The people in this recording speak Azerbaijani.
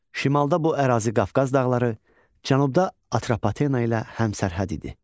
Şimalda bu ərazi Qafqaz dağları, cənubda Atropatena ilə həmsərhəd idi.